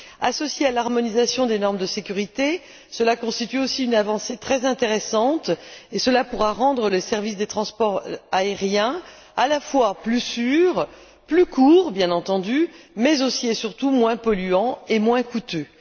Associé à l'harmonisation des normes de sécurité, cela constitue aussi une avancée très intéressante et cela pourra rendre le service des transports aériens à la fois plus sûr, plus court bien entendu, mais aussi et surtout moins polluant et moins coûteux.